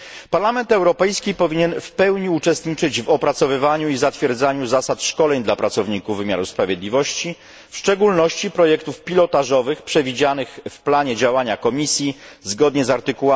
Parlament Europejski powinien w pełni uczestniczyć w opracowywaniu i zatwierdzaniu zasad szkoleń dla pracowników wymiaru sprawiedliwości, w szczególności projektów pilotażowych przewidzianych w planie działania Komisji zgodnie z art.